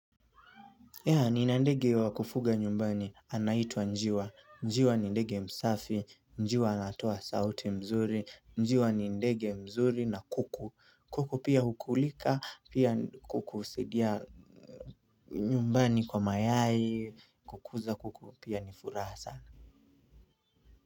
Ya, nina ndege wa kufuga nyumbani anaitwa njiwa, njiwa ni ndege msafi, njiwa anatoa sauti mzuri, njiwa ni ndege mzuri na kuku. Kuku pia hukulika, pia kuku husidia nyumbani kwa mayai, kukuza kuku pia ni furasa.